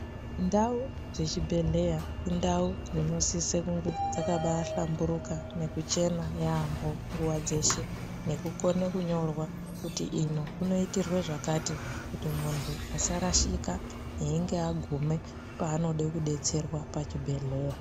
Ndau dzechibhedhleya indau dzinosise kunge dzakabahlamburuka nekuchena yaamho nguwa dzeshe nekukone kunyorwa kuti ino kunoite zvakati kuti muntu asarashika achinge aguma panode kudetserwa pachibhedhlera.